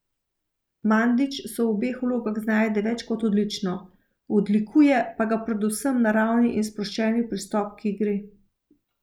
Mandić se v obeh vlogah znajde več kot odlično, odlikuje pa ga predvsem naravni in sproščeni pristop k igri.